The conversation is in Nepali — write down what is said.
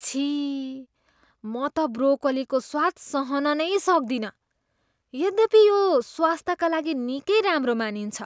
छिः म त ब्रोकोलीको स्वाद सहन नै सक्दिनँ यद्यपि यो स्वास्थ्यका लागि निकै राम्रो मानिन्छ।